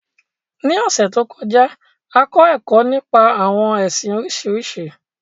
Ní ọ̀sẹ̀ to kọjá, a kọ ẹkọ nípa àwọn ẹsìn Oríṣiríṣi.